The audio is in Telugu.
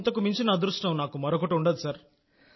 ఇంతకు మించిన అదృష్టం నాకు మరొకటి ఉండదు